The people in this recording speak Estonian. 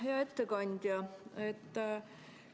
Hea ettekandja!